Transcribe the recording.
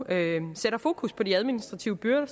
sætter fokus på de administrative byrder